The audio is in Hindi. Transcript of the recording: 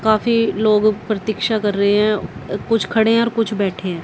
काफी लोग प्रतीक्षा कर रहे हैं कुछ खड़े हैं और कुछ बैठे हैं।